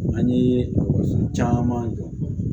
An ye caman jɔ